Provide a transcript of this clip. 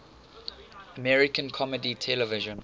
american comedy television